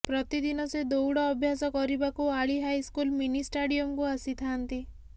ପ୍ରତିଦିନ ସେ ଦୌଡ ଅଭ୍ୟାସ କରିବାକୁ ଆଳି ହାଇସ୍କୁଲ ମିନିଷ୍ଟାଡିୟମକୁ ଆସିଥାନ୍ତି